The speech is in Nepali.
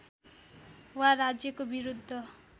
वा राज्यको विरुद्ध